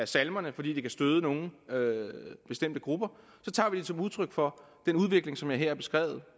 salmerne fordi de kan støde nogle bestemte grupper tager vi det som udtryk for den udvikling som jeg her har beskrevet